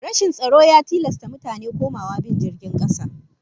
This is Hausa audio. Rashin tsaro ya tilasta mutane komawa bin jirgin kasa